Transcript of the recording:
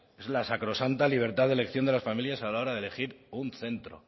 es la sacrosanta libertad de elección de las familias a la hora de elegir un centro